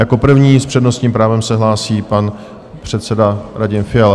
Jako první s přednostním právem se hlásí pan předseda Radim Fiala.